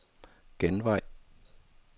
genvej